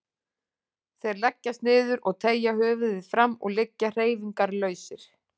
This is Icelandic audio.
Þeir leggjast niður og teygja höfuðið fram og liggja hreyfingarlausir.